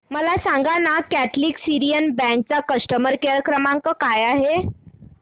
मला सांगाना Catholic Syrian Bank चा कस्टमर केअर क्रमांक काय आहे